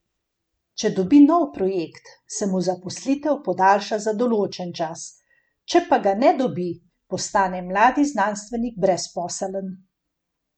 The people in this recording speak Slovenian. Če dobi nov projekt, se mu zaposlitev podaljša za določen čas, če pa ga ne dobi, postane mladi znanstvenik brezposeln.